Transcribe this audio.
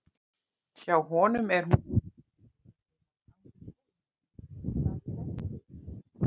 Hjá honum er hún svona: Jólasveinar ganga um gólf með gyltan staf í hendi.